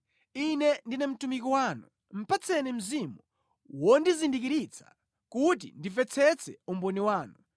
Ine ndine mtumiki wanu; patseni mzimu wondizindikiritsa, kuti ndimvetsetse umboni wanu.